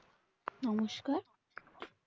নমস্কার